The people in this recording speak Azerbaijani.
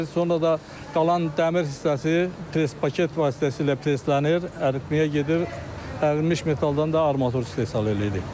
Sonra da qalan dəmir hissəsi pres paket vasitəsilə preslənir, əriməyə gedir, ərinmiş metaldan da armatur istehsal eləyirik.